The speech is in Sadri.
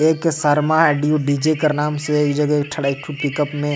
एक शर्मा डी डी. जे. कर नाम से एक ठो खड़ा एक ठो पिकअप --